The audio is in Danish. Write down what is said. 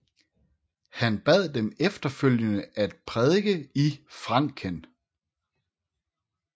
Han bad dem efterfølgende om at prædike i Franken